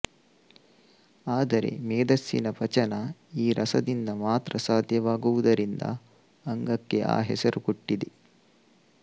ಆದರೆ ಮೇದಸ್ಸಿನ ಪಚನ ಈ ರಸದಿಂದ ಮಾತ್ರ ಸಾಧ್ಯವಾಗುವುದರಿಂದ ಅಂಗಕ್ಕೆ ಆ ಹೆಸರು ಕೊಟ್ಟಿದೆ